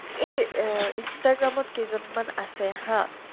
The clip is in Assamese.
এই অ instagram ত কেইজনমান আছে হা